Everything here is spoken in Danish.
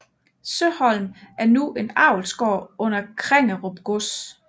Søholm er nu en avlsgård under Krengerup Gods